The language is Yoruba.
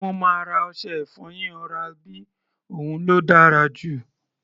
Mo máa ra ọṣẹ-ìfọyín oral B, òun ló dára jù.